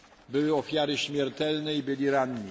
Były ofiary śmiertelne i byli ranni.